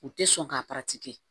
U tɛ sɔn ka